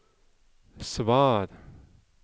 svar